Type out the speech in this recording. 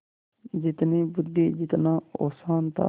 जितनी बुद्वि जितना औसान था